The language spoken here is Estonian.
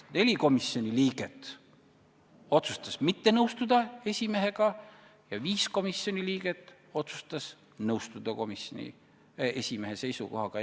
Neli komisjoni liiget otsustasid mitte nõustuda esimehega ja viis liiget otsustasid nõustuda komisjoni esimehe seisukohaga.